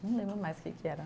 Não lembro mais que que era.